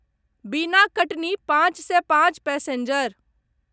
बिना कटनी पाँच सए पाँच पैसेञ्जर